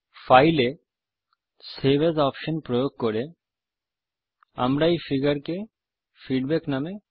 file এ save as option প্রয়োগ করে আমরা এই ফিগারকে ফীডবেক নামে সেভ করব